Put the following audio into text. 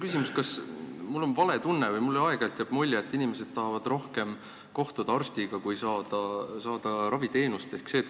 Ma ei tea, kas mul on vale tunne või mis, aga mulle jääb aeg-ajalt mulje, et inimesed tahavad rohkem kohtuda arstiga kui saada raviteenust.